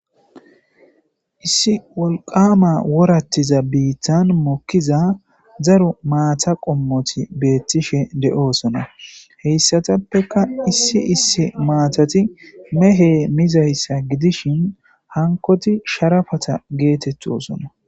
issi wolqama worattiza biittan mokkiza zaru maata qommoti beettishe de7oosona heyssatappeka issi issi maatati mehe mizayssa gidishin hankoti sharafata geetettosona